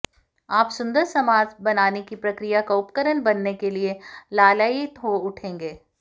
आप सुंदर समाज बनाने की प्रक्रिया का उपकरण बनने के लिए लालायित हो उठेंगे